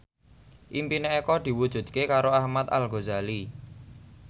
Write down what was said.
impine Eko diwujudke karo Ahmad Al Ghazali